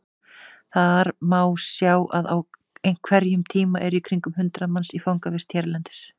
Þar má sjá að á hverjum tíma eru í kringum hundrað manns í fangavist hérlendis.